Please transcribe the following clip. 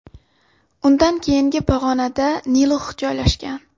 Undan keyingi pog‘onada Hilux joylashgan.